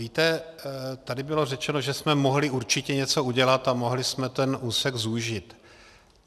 Víte, tady bylo řečeno, že jsme mohli určitě něco udělat a mohli jsme ten úsek zúžit.